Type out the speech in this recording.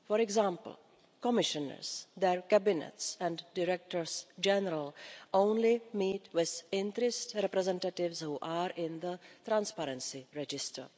For example, Commissioners, their cabinets and directors general only meet with interest representatives who are in the transparency register.